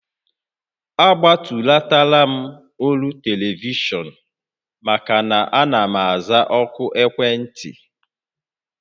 A gbatulatara m olu telivishọn maka na ana m aza òkù ekwentị